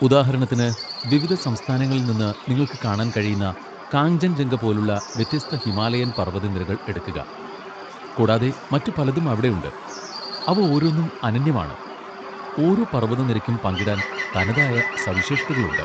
ഉദാഹരണത്തിന്, വിവിധ സംസ്ഥാനങ്ങളിൽ നിന്ന് നിങ്ങൾക്ക് കാണാൻ കഴിയുന്ന കാഞ്ചൻജംഗ പോലുള്ള വ്യത്യസ്ത ഹിമാലയൻ പർവ്വതനിരകൾ എടുക്കുക, കൂടാതെ മറ്റു പലതും അവിടെയുണ്ട്, അവ ഓരോന്നും അനന്യമാണ്, ഓരോ പർവ്വതനിരയ്ക്കും പങ്കിടാൻ തനതായ സവിശേഷതകളുണ്ട്.